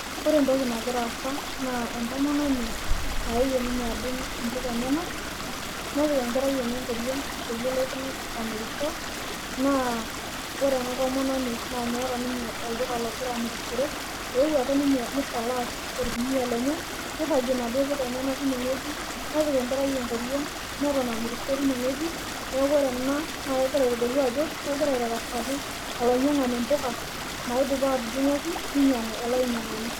Ore etoki nagira aasa naa, etomononi, nayewuo ninye adung ibuka enyenak nepik enkerai enye ekoriong peyie, elotu amirisho naa, ore ena tomononi naa meeta ninye olduka logira amirishore euo ake ninye nisalash orkunia lenye, neiragie naaduo puka enyenak tine wueji, nepik enkerai ekoriong neton amirisho time wueji. Neaku ore ena naa kegira aitodolu ajo, kegira aitarasaki alainyiangani ipuka naidipa atudungoki, ninyiangu ele ainyiangani.